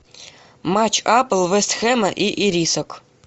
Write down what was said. матч апл вест хэма и ирисок